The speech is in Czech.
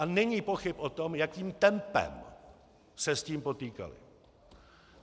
A není pochyb o tom, jakým tempem se s tím potýkali.